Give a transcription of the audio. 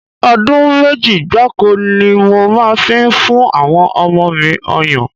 Ọdún méjì gbáko ni mo máa fi ń fún àwọn ọmọ mi ọyàn